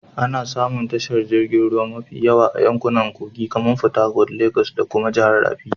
Ana samun tashar jiragen ruwa mafi yawa a yankunan kogi kamar porthercourt, Legas da kuma jihar rafi